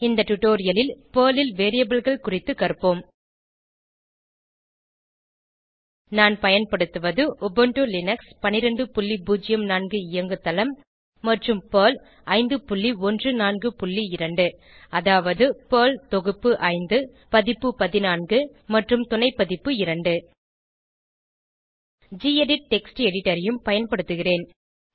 இந்த டுடோரியலில் பெர்ல் ல் Variableகள் குறித்துக் கற்போம் நான் பயன்படுத்துவது உபுண்டு லினக்ஸ் 1204 இயங்குதளம் மற்றும் பெர்ல் 5142 அதாவது பெர்ல் தொகுப்பு 5 பதிப்பு 14 மற்றும் துணைப்பதிப்பு 2 கெடிட் டெக்ஸ்ட் எடிட்டர் ஐயும் பயன்படுத்துகிறேன்